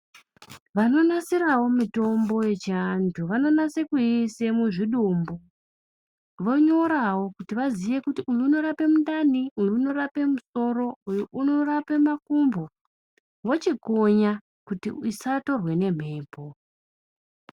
Vanonasirao mitombo yechianthu vanonase kuiisa muchidumbu vonyorao kuti vaziye kuti uyu unorape mundani uyu unorape musoro uyu unorape makumbo vochikonya kuti isatorwa ngembepo.